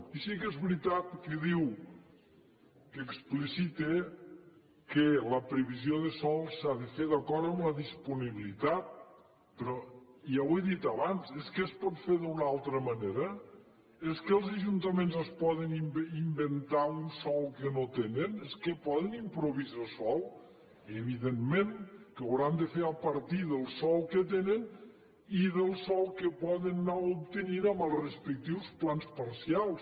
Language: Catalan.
i sí que és veritat que diu que explicita que la previsió de sòl s’ha de fer d’acord amb la disponibilitat però ja ho he dit abans és que es pot fer d’una altra manera és que els ajuntaments es poden inventar un sòl que no tenen és que poden improvisar sòl evidentment que ho hauran de fer a partir del sòl que tenen i del sòl que poden anar obtenint amb els respectius plans parcials